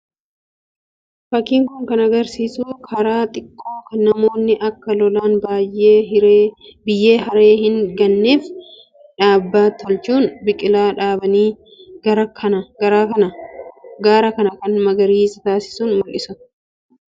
Fakkiin kun agarsiisu gaara xiqqoo kan namoonni akka lolaan biyyee haree hin ganneef dhaabaa tolchuun biqilaa dhaabanii gaara kana magariisa taasisan mul'isa. Kunis namoonni hedduun kan biratti argamanii fi cina dhaabbachaa jiran mul'isa.